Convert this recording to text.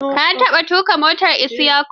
Ka taɓa tuƙa motar Isyaku?